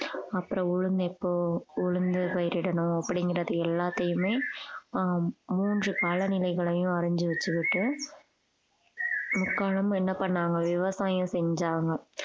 அப்புறம் உளுந்து எப்போ உளுந்து பயிரிடணும் அப்படிங்கிறது எல்லாத்தையுமே ஆஹ் மூன்று கால நிலைகளையும் அறிஞ்சு வைச்சுக்கிட்டு முக்காலமும் என்ன பண்ணாங்க விவசாயம் செஞ்சாங்க